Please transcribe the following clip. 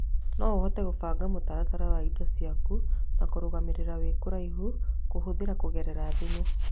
no ũhote kũbanga mũtaratara wa indo ciaku na kũrũgamĩrĩra wĩĩ kũraihu kũhũthĩra kũgerera thimũ